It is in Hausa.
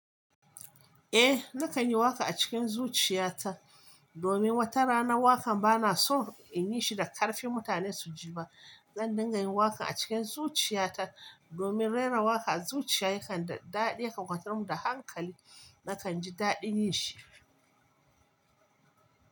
Eh, nakan yi waka a cikin zuciya ta domin wata rana wakan bana so in yi shi da ƙarfi mutane su ji ba. Zan dinga yin waka a cikin zuciya ta domin rera waka a zuciya yakan daɗe, ya kwantar mu da hankali. Nakan ji daɗin yin shi.